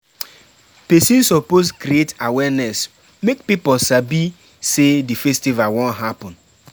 Persin suppose create awareness make pipo sabi say di festival won happen